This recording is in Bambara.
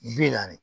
Bi naani